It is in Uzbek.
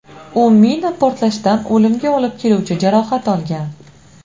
U mina portlashidan o‘limga olib keluvchi jarohat olgan.